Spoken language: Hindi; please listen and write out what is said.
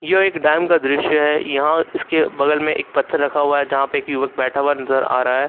यह एक डैम का दृश्य है यहां इसके बगल में एक पत्थर रखा हुआ है जहां पे युवक बैठा हुआ नजर आ रहा है।